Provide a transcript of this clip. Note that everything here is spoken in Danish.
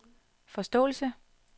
forståelse